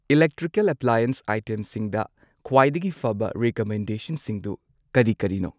Electrical appliance ꯑꯥꯏꯇꯦꯝꯁꯤꯡꯗ ꯈ꯭ꯋꯥꯏꯗꯒꯤ ꯐꯕ ꯔꯤꯀꯃꯦꯟꯗꯦꯁꯟꯁꯤꯡꯗꯨ ꯀꯔꯤ ꯀꯔꯤꯅꯣ?